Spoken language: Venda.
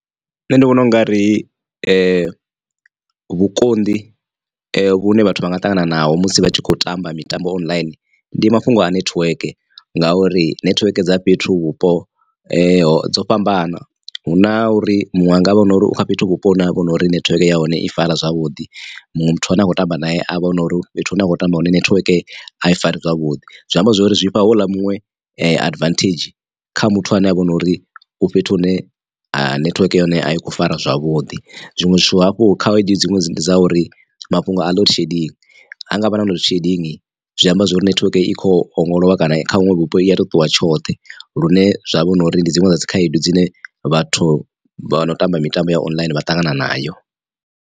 Nṋe ndi vhona u nga ri vhukonḓi vhune vhathu vha nga ṱangana naho musi vha tshi khou tamba mitambo online ndi mafhungo a nethiweke ngauri nethiweke dza fhethu vhupo dzo fhambana hu na uri muṅwe anga vha hone na uri u kha fhethu vhupo hune ha vha hu no uri nethiweke ya hone i fara zwavhuḓi muṅwe muthu ane a khou tamba nae avha huna uri fhethu hune a kho tamba hone nethiweke a i fari zwavhuḓi. Zwi amba zwori zwi fha houḽa muṅwe advantage kha muthu ane avha hu nori u fhethu hune ha nethiweke ya hone a i khou fara zwavhuḓi zwiṅwe zwithu hafhu khaedu dziṅwe ndi dza uri mafhungo a load shedding ha ngavha na load shedding zwi amba zwori nethiweke i kho ongolowa kana kha vhuṅwe vhupo i a to ṱuwa tshoṱhe lune zwavha hunori ndi dziṅwe dza dzi khaedu dzine vhathu vha no tamba mitambo ya online vha ṱangana nayo.